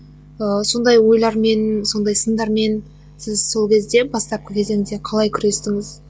ыыы сондай ойлармен сондай сындармен сіз сол кезде бастапқы кезеңде қалай күрестіңіз